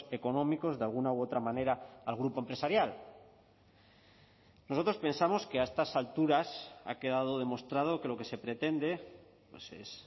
económicos de alguna u otra manera al grupo empresarial nosotros pensamos que a estas alturas ha quedado demostrado que lo que se pretende es